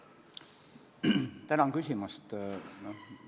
Tänan küsimast!